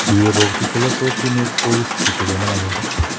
Ye bokchi chelososinik kowisisitu kenam akerat